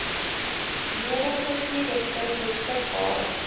nodige toerusting beskikbaar